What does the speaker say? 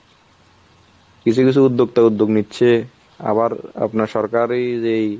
কিছু কিছু উদ্যোক্তা উদ্যোগ নিচ্ছে ,আবার আপনার সরকারী যেই